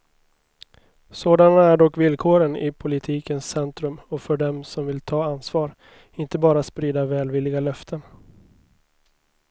Sådana är dock villkoren i politikens centrum och för dem som vill ta ansvar, inte bara sprida välvilliga löften.